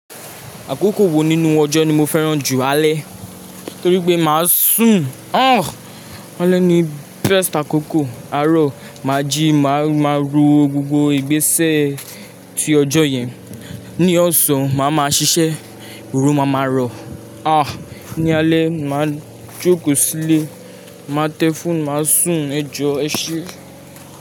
Àkókò wo nínú ọjọ́ ni mo fẹ́ràn jù? Alẹ́ torí pé máa sùn. Alẹ́ ni best àkókò, àárọ̀ máa jíì, máa máa ro gbogbó, ìgbésẹ̀ ti ọjọ́ yẹn. Ni ọ̀sán, màá máa ṣiṣẹ́, oorun máa máa ràn. Ní alẹ́, màá jókòó sílé, màá tẹ fóònù, màá sùn, ẹjọ́ ẹ ṣé.